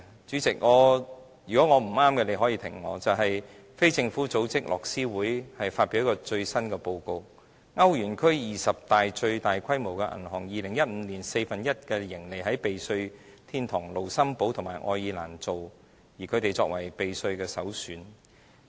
主席，如果我說得不對，你可以打斷我，便是非政府組織樂施會發表了最新的報告，歐元區二十大最大規模的銀行 ，2015 年有四分之一的盈利登記在避稅天堂盧森堡和愛爾蘭，兩地成為避稅首選。